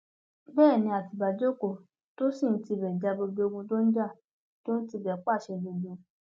bẹẹ ni àtibá jókòó tó sì ń tibẹ ja gbogbo ogun tó ń jà tó ń tibẹ pàṣẹ gbogbo